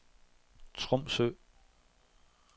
Tromsø